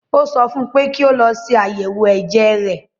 Ó sọ fún un pé kí ó lọ ṣe ayẹwo ẹ̀jẹ̀ rẹ̀